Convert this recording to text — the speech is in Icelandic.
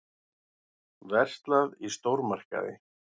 Verslað í stórmarkaði.